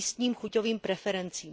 místním chuťovým preferencím.